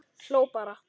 Hló bara.